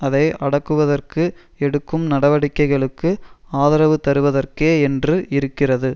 அதை அடக்குவதற்கு எடுக்கும் நடவடிக்கைகளுக்கு ஆதரவு தருவதற்கே என்று இருக்கிறது